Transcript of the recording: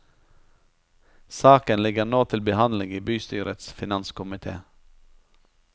Saken ligger nå til behandling i bystyrets finanskomité.